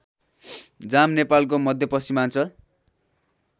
जाम नेपालको मध्यपश्चिमाञ्चल